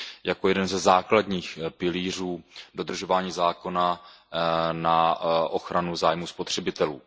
jako jeden ze základních pilířů dodržování zákona na ochranu zájmů spotřebitelů.